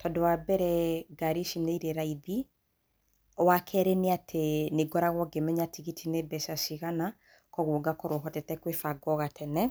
tondũ wambere ngari ici nĩ irĩ raithi. Wakerĩ nĩ atĩ nĩ ngoragwo ngĩmenya tigiti nĩ mbeca cigana, kwoguo ngakorwo hotete kwĩbanga o gatene.